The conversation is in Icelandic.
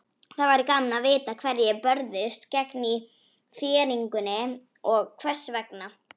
Það væri gaman að vita hverjir börðust gegn þéringunni og hvers vegna.